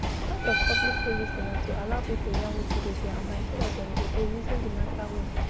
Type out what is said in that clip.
part of public policy na to allow people yarn wetin dey their mind so dat dem go dey reason di matter well